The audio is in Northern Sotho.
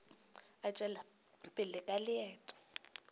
a tšwela pele ka leeto